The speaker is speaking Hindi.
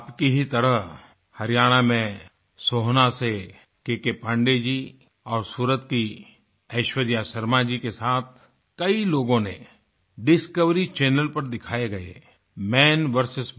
आपकी ही तरह हरियाणा में सोहना से केकेपाण्डेय जी और सूरत की ऐश्वर्या शर्मा जी के साथ कई लोगों ने डिस्कवरी चैनल पर दिखाये गये मन वीएस